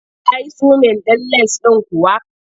Ka yi zumin ɗin lens ɗin kuwa?